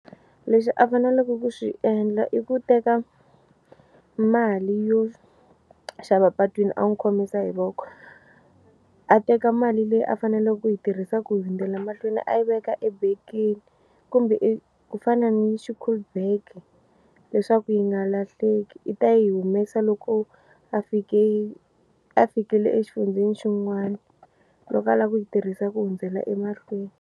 Lexi a faneleke ku xi endla i ku teka mali yo xava patwini a n'wi khomisa hi voko a teka mali leyi a faneleke ku yi tirhisa ku hundzela mahlweni a yi veka ebekeni kumbe ku fana ni schoolbag leswaku yi nga lahleki i ta yi humesa loko a fike a fikile exifundzeni xin'wana loko a lava ku yi tirhisa ku hundzela emahlweni.